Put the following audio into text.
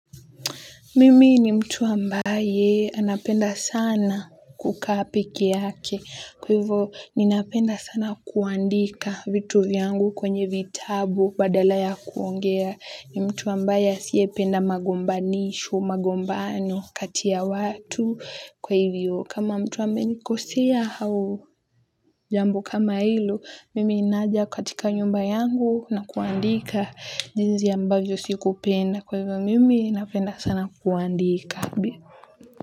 Mimi ni mtu ambaye anapenda sana kuka pekee yake. Kwa hivyo, ninapenda sana kuandika vitu vyangu kwenye vitabu badala ya kuongea. Ni mtu ambaye asiyependa magombanisho, magombano, kati ya watu kwa hivyo. Kama mtu amenikosea au jambo kama hilo, mimi ninaja katika nyumba yangu na kuandika jinsi ambavyo siku penda. Kwa hivyo mimi napenda sana kuandika.